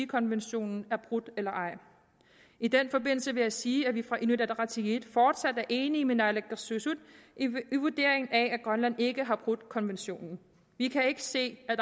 konventionen er brudt eller ej i den forbindelse vil jeg sige at vi fra inuit ataqatigiits side fortsat er enige med naalakkersuisut i vurderingen af at grønland ikke har brudt konventionen vi kan ikke se at